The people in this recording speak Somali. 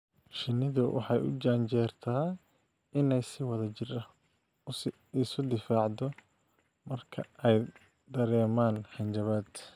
Shinnidu waxay u janjeertaa inay si wadajir ah isu difaacdo marka ay dareemaan hanjabaad.